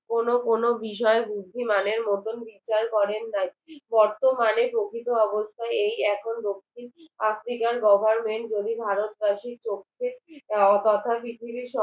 কোনো কোনো বিষয়ে বুদ্ধিমানের মতো বিচার করেন নাই বর্তমানে প্রকৃত অবস্থায় এই এখন দক্ষিণ আফ্রিকার government যদি ভারতবাসী প্রত্যেক